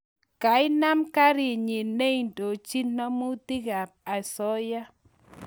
kainem kerenyin neindochin namutig ap asioya